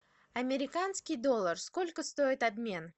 американский доллар сколько стоит обмен